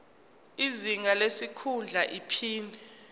izinga lesikhundla iphini